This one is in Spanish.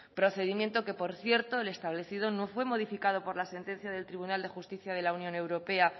procedimiento que por cierto el establecido no fue modificado por la sentencia del tribunal de justicia de la unión europea